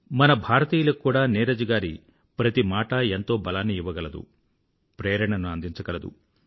మన భారతీయులకు కూడా నీరజ్ గారి ప్రతి మాటా ఎంతో బలాన్ని ఇవ్వగలదు ప్రేరణను అందించగలదు